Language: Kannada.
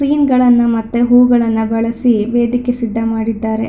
ಕ್ವೀನ್ ಗಳನ್ನ ಮತ್ತೆ ಹೂವುಗಳನ್ನ ಬಳಸಿ ವೇದಿಕೆ ಸಿದ್ದ ಮಾಡಿದ್ದಾರೆ-